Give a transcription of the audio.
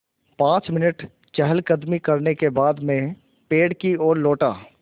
पाँच मिनट चहलकदमी करने के बाद मैं पेड़ की ओर लौटा